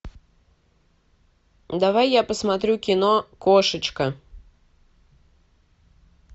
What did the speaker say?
давай я посмотрю кино кошечка